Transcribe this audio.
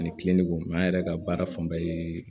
Ani an yɛrɛ ka baara fanba ye